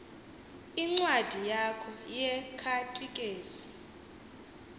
incwadi yakho yekhatikezi